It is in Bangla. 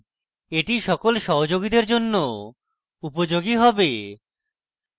এটি সকল সহযোগীদের জন্য উপযোগী হবে